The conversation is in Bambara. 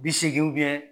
Bi seegin